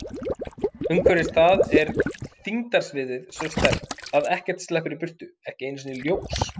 Umhverfis það er þyngdarsviðið svo sterkt að ekkert sleppur í burtu, ekki einu sinni ljós.